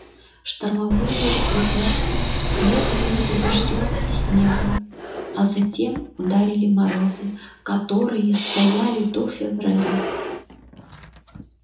штормовые ветра следовали за дождём и снегом а затем ударили морозы которые стояли до февраля